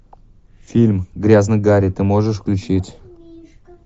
фильм грязный гарри ты можешь включить